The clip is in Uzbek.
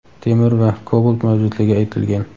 temir va kobalt mavjudligi aytilgan.